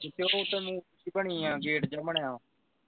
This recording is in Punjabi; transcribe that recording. ਜਿਥੇ ਉਧਰ ਨੂੰ ਬਣੀ ਆ ਗੇਟ ਜਾ ਬਣਿਆ ਆ